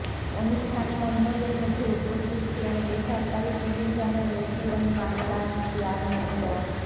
অনুষ্ঠানে অন্যদের মধ্যে উপস্থিত ছিলেন বেসরকারি টিভি চ্যানেল এটিএন বাংলার চেয়ারম্যান ড